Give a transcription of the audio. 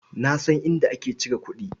Na san inda ake cire kuɗi.